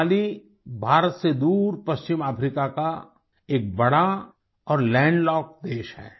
माली भारत से दूर पश्चिम अफ्रिका का एक बड़ा और लैंड लॉक्ड देश है